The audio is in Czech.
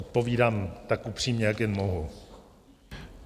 Odpovídám tak upřímně, jak jen mohu.